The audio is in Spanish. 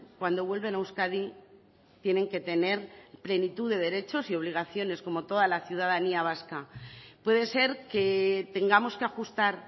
cuando vuelven a euskadi tienen que tener plenitud de derechos y obligaciones como toda la ciudadanía vasca puede ser que tengamos que ajustar